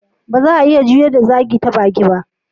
Ba za'a iya juyar da zagi ta baki ba.